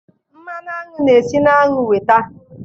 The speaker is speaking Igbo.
mmanụ aṅụ na-esi na aṅụ nweta